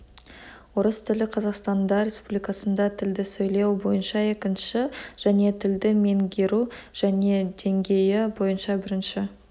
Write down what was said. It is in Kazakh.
орыс тілі қазақстанда республикасында тілді сөйлеу бойынша екінші және тілді меңгеру және деңгейі бойынша бірінші